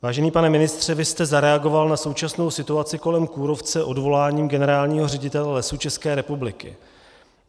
Vážený pane ministře, vy jste zareagoval na současnou situaci kolem kůrovce odvoláním generálního ředitele Lesů České republiky.